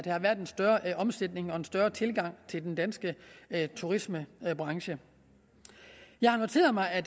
har været en større omsætning været en større tilgang til den danske turismebranche jeg har noteret mig at